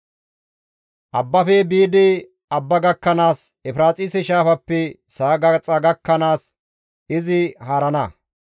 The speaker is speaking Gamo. Abbafe biidi abba gakkanaas, Efiraaxise Shaafaappe sa7a gaxa gakkanaas izi haarana.